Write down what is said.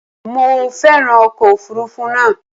Mo féràn ọkọ̀ òfuurufú náà.